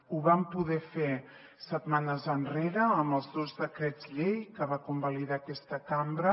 ho vam poder fer setmanes enrere amb els dos decrets llei que va convalidar aquesta cambra